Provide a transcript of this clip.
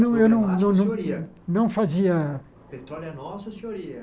Não, eu não não não não fazia... Petróleo é nosso e o senhor ia?